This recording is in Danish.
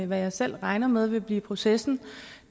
hvad jeg selv regner med vil blive processen